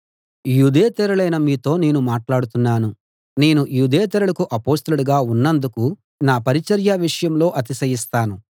యూదేతరులైన మీతో నేను మాట్లాడుతున్నాను నేను యూదేతరులకు అపొస్తలుడుగా ఉన్నందుకు నా పరిచర్య విషయంలో అతిశయిస్తాను